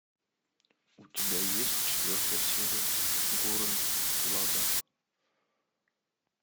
у тебя есть четвертая серия гуррен лаганн